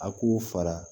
A k'u fara